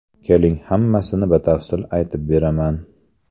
Keling, hammasini batafsil aytib beraman.